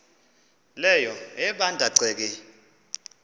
leyo ebanda ceke